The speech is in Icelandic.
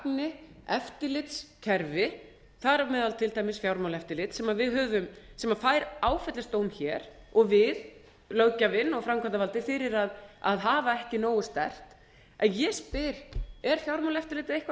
gangi eftirlitskerfi þar á meðal til dæmis fjármálaeftirlits sem fær áfellisdóm hér og við hér löggjafinn og framkvæmdavaldið fyrir að hafa ekki nógu sterkt ég spyr er fjármálaeftirlitið eitthvað